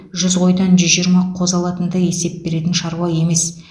жүз қойдан жүз жиырма қозы алатындай есеп беретін шаруа емес